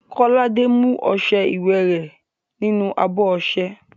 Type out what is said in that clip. Kọ́ládé mú ọṣẹ iwẹ̀ rẹ̀ nínú abọ́ ọṣẹ.